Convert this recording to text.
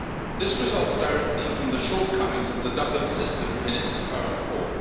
This results directly from the shortcomings of the Dublin System in its current form.